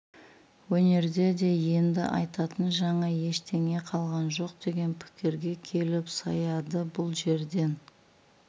өнерде де енді айтатын жаңа ештеңе қалған жоқ деген пікірге келіп саяды бұл жерден